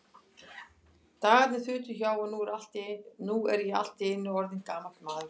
Dagarnir þutu hjá, og nú er ég allt í einu orðinn gamall maður.